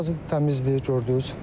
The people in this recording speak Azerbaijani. Ərazi təmizdir gördüz.